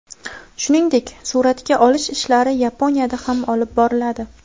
Shuningdek, suratga olish ishlari Yaponiyada ham olib boriladi.